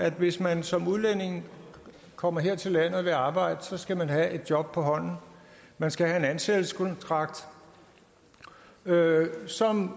at hvis man som udlænding kommer her til landet og vil arbejde skal man have et job på hånden man skal have en ansættelseskontrakt som